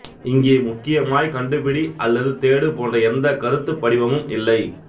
இங்கே முக்கியமாய் கண்டுபிடி அல்லது தேடு போன்ற எந்த கருத்துப் படிவமும் இல்லை